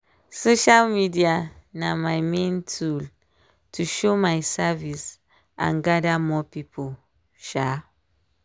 social media na my main tool to show my service and gather more people. um